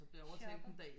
Shopper